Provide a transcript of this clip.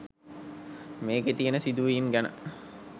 මේකේ තියෙන සිදුවීම් ගැන